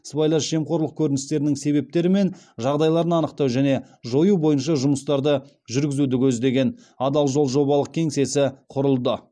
сыбайлас жемқорлық көріністерінің себептері мен жағдайларын анықтау және жою бойынша жұмыстарды жүргізуді көздеген адал жол жобалық кеңсесі құрылды